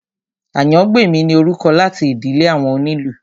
Àyàngbèmí ni orúkọ láti ìdílé àwọn onílù